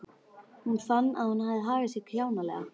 Hún fann að hún hafði hagað sér kjánalega.